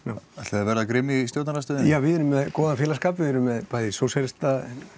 að vera grimm í stjórnarandstöðunni já við erum með góðan félagsskap við erum með bæði sósíalistaflokkinn